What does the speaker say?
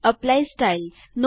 apply styles